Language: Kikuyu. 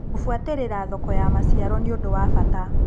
Kũbuatĩrĩra thoko ya maciaro nĩũndu wa bata.